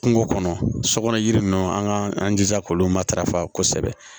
Kungo kɔnɔ sokɔnɔ yiri ninnu an k'an jija k'olu matarafa kosɛbɛ